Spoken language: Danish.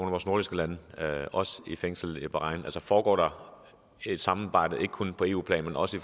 af vores nordiske lande i fængsel i bahrain og foregår der et samarbejde altså ikke kun på eu plan men også i